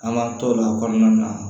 An b'an t'o la o kɔnɔna na